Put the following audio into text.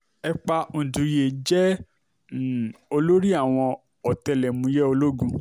epa ùǹdẹ̀yẹ jẹ́ um olórí àwọn ọ̀tẹlẹ̀múyẹ́ ológun